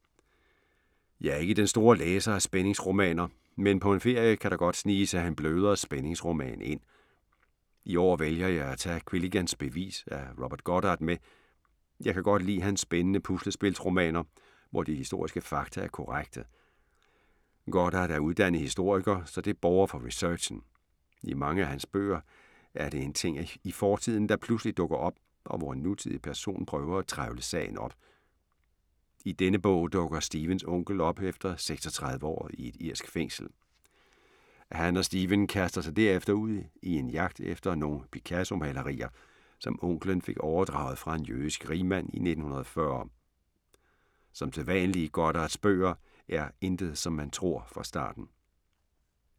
Jeg er ikke den store læser af spændingsromaner. Men på en ferie kan der godt snige sig en blødere spændingsroman ind. I år vælger jeg at tage Quilligans bevis af Robert Goddard med. Jeg kan godt lide hans spændende puslespilsromaner, hvor de historiske fakta er korrekte. Goddard er uddannet historiker, så det borger for researchen. I mange af hans bøger er det en ting i fortiden, der pludselig dukker op og hvor en nutidig person prøver at trevle sagen op. I denne bog dukker Stephens onkel op efter 36 år i et irsk fængsel. Han og Stephen kaster sig derefter ud i en jagt efter nogle Picasso-malerier, som onklen fik overdraget fra en jødisk rigmand i 1940. Som sædvanlig i Goddards bøger er intet som man tror fra starten.